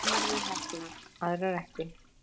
Sumar eru heppnar, aðrar ekki.